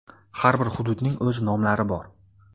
Har bir hududning o‘z nomlari bor.